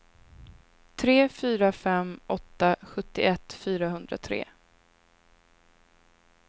tre fyra fem åtta sjuttioett fyrahundratre